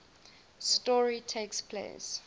story takes place